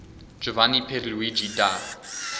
giovanni pierluigi da